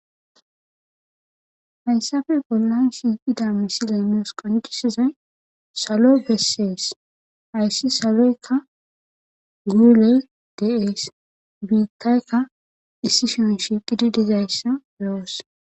hayssafe bollan shiiqida misileynoos qoncisizay salo bessees ayssi saloykka guule deees biittaykka issi shion shiiqidi dizayssa loos